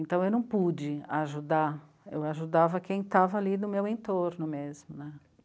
Então eu não pude ajudar, eu ajudava quem estava ali no meu entorno mesmo né.